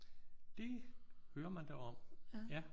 Det hører man da om ja